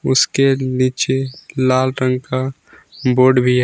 उसके नीचे लाल रंग का बोर्ड भी है।